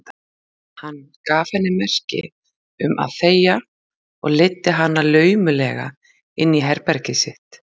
Hann gaf henni merki um að þegja og leiddi hana laumulega inn í herbergið sitt.